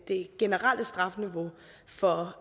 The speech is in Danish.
det generelle strafniveau for